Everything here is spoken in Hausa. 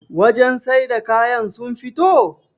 wajen sai da kayan sun fito?